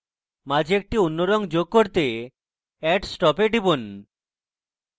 মাঝে একটি অন্য রঙ যোগ করতে add stop এ টিপুন